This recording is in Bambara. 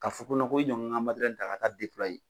Ka fo ko ko i n ka n ka ta ka taa